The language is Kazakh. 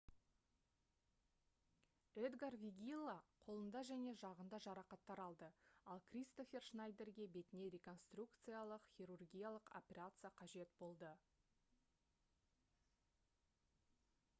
эдгар вегилла қолында және жағында жарақаттар алды ал кристофер шнайдерге бетіне реконструкциялық хирургиялық операция қажет болды